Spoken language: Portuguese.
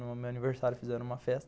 No meu aniversário fizeram uma festa.